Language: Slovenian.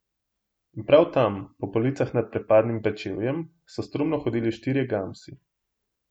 In prav tam, po policah nad prepadnim pečevjem, so strumno hodili štirje gamsi.